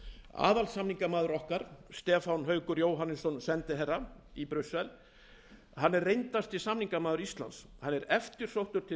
aðalsamningamaður okkar stefán haukur jóhannesson sendiherra í brussel er reyndasti samningamaður íslands hann er